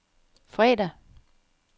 fredag